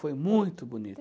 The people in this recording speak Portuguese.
Foi muito bonito.